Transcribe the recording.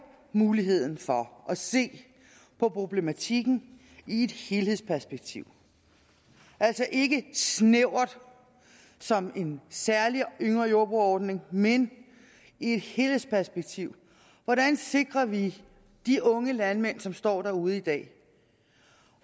muligheden for at se på problematikken i et helhedsperspektiv altså ikke snævert som i en særlig yngre jordbrugere ordning men i et helhedsperspektiv hvordan sikrer vi de unge landmænd som står derude i dag